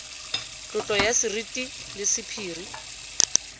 tlotlo ya seriti le sephiri